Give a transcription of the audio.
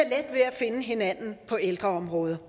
finde hinanden på ældreområdet